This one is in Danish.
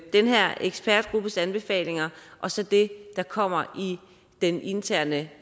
den her ekspertgruppes anbefalinger og så det der kommer i den interne